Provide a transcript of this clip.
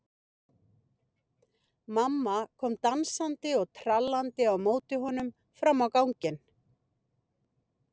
Mamma kom dansandi og trallandi á móti honum fram á ganginn.